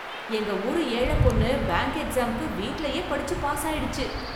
எங்க ஊரு ஏழ பொண்ணு பேங்க் எக்ஸாம்க்கு வீட்லயே படிச்சு பாஸ் ஆயிடுச்சு.